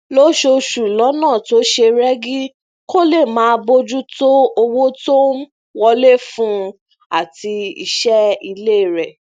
lóṣooṣù lónà tó ṣe régí kó lè máa bójú tó owó tó ń wọlé fún un àti iṣé ilé rè